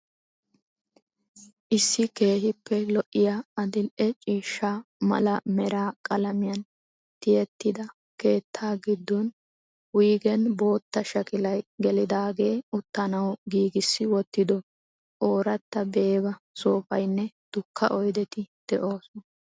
Issi keekiippe lo'iyaa adildhdhe ciishsha mala mera qalamiyaan tiyettida keettaa gidoon, woygeen boottaa shakilay gelidaagee, uttanawu giigissi wottido ooratta beeba soofaynne dukka oydetti de'oosona.